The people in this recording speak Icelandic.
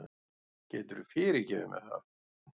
Geturðu fyrirgefið mér það?